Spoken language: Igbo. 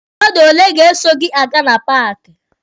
Mmadụ ole ga-eso gị aga na paaki?